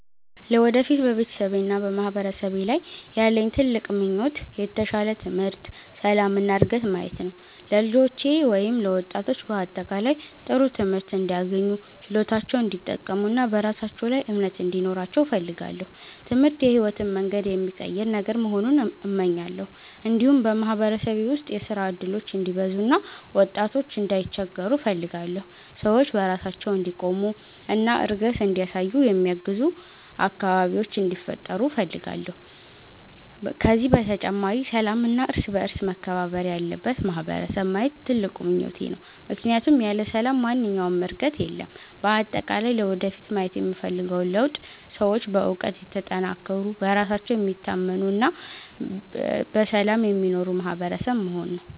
ለወደፊት በቤተሰቤና በማህበረሰቤ ላይ ያለኝ ትልቅ ምኞት የተሻለ ትምህርት፣ ሰላም እና ዕድገት ማየት ነው። ለልጆቼ ወይም ለወጣቶች በአጠቃላይ ጥሩ ትምህርት እንዲያገኙ፣ ችሎታቸውን እንዲጠቀሙ እና በራሳቸው ላይ እምነት እንዲኖራቸው እፈልጋለሁ። ትምህርት የሕይወትን መንገድ የሚቀይር ነገር መሆኑን እመኛለሁ። እንዲሁም በማህበረሰቤ ውስጥ የሥራ እድሎች እንዲበዙ እና ወጣቶች እንዳይቸገሩ እፈልጋለሁ። ሰዎች በራሳቸው እንዲቆሙ እና እድገት እንዲያሳዩ የሚያግዙ አካባቢዎች እንዲፈጠሩ እፈልጋለሁ። ከዚህ በተጨማሪ ሰላምና እርስ በእርስ መከባበር ያለበት ማህበረሰብ ማየት ትልቁ ምኞቴ ነው፣ ምክንያቱም ያለ ሰላም ማንኛውም ዕድገት የለም። በአጠቃላይ ለወደፊት ማየት የምፈልገው ለውጥ ሰዎች በእውቀት የተጠናከሩ፣ በራሳቸው የሚታመኑ እና በሰላም የሚኖሩ ማህበረሰብ መሆን ነው።